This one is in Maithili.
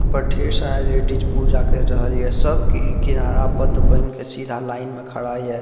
ऊपर ढ़ेर सारी लेडिस पूजा कर रहलिए सब के ई किनारा बध बन के सीधा लाइन में खड़ा हिए।